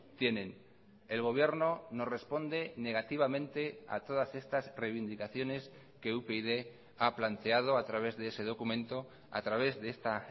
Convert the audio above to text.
tienen el gobierno nos responde negativamente a todas estas reivindicaciones que upyd ha planteado a través de ese documento a través de esta